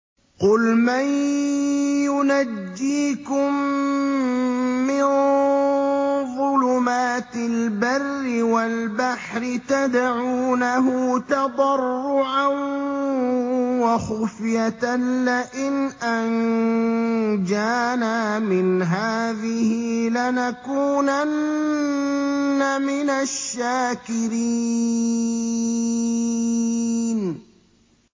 قُلْ مَن يُنَجِّيكُم مِّن ظُلُمَاتِ الْبَرِّ وَالْبَحْرِ تَدْعُونَهُ تَضَرُّعًا وَخُفْيَةً لَّئِنْ أَنجَانَا مِنْ هَٰذِهِ لَنَكُونَنَّ مِنَ الشَّاكِرِينَ